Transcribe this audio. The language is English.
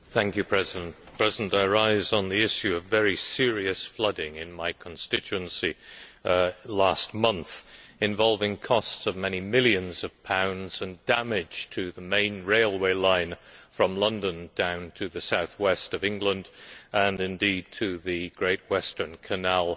Mr President, I rise on the issue of very serious flooding in my constituency last month, involving costs of many millions of pounds and damage to the main railway line from London to the south west of England, and indeed damage to the Great Western Canal